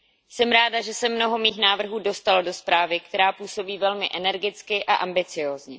Jsem ráda, že se mnoho mých návrhů dostalo do zprávy, která působí velmi energicky a ambiciózně.